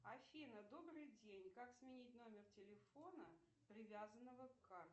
афина добрый день как сменить номер телефона привязанного к карте